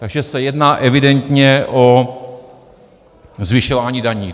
Takže se jedná evidentně o zvyšování daní.